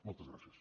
moltes gràcies